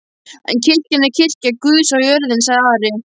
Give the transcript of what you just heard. En kirkjan er kirkja Guðs á jörðinni, sagði Ari.